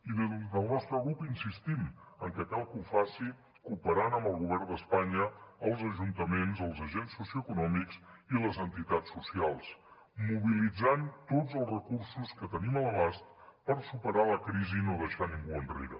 i des del nostre grup insistim en que cal que ho facin cooperant amb el govern d’espanya els ajuntaments els agents socioeconòmics i les entitats socials mobilitzant tots els recursos que tenim a l’abast per superar la crisi i no deixar ningú enrere